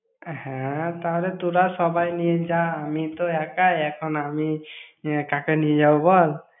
হ্যাঁ, তাহলে তোরা সবাই নিয়ে যা। আমি তো একাই এখন, আমি কাকে নিয়ে যাবো বল?